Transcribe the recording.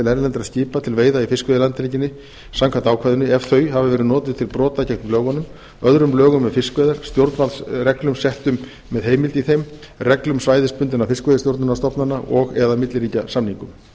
erlendra skipa til veiða í fiskveiðilandhelginni samkvæmt ákvæðinu ef þau hafa verið notuð til brota gegn lögunum öðrum lögum um fiskveiðar stjórnvaldsreglum settum með heimild í þeim reglum svæðisbundinna fiskveiðistjórnarstofnana og eða milliríkjasamningum